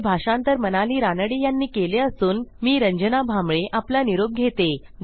हे भाषांतर मनाली रानडे यांनी केले असून आवाज रंजना भांबळे यांचा आहे